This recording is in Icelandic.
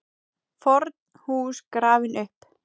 FORN HÚS GRAFIN UPP